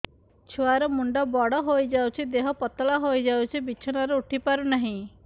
ଛୁଆ ର ମୁଣ୍ଡ ବଡ ହୋଇଯାଉଛି ଦେହ ପତଳା ହୋଇଯାଉଛି ବିଛଣାରୁ ଉଠି ପାରୁନାହିଁ